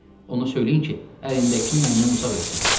Onu söyləyin ki, əlindəkinin məndən uzaq eləsin.